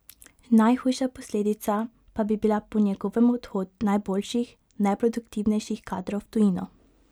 Najhujša posledica pa bi bila po njegovem odhod najboljših, najproduktivnejših kadrov v tujino.